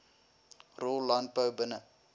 rol landbou binne